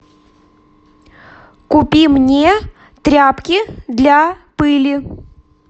купи мне тряпки для пыли